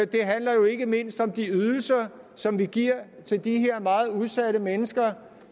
det handler jo ikke mindst om de ydelser som vi giver til de her meget udsatte mennesker